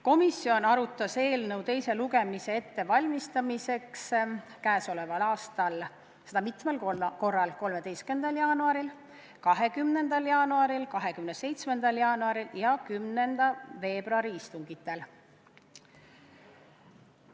Komisjon valmistas eelnõu teiseks lugemiseks ette käesoleval aastal mitmel korral: 13. jaanuaril, 20. jaanuaril, 27. jaanuaril ja 10. veebruaril.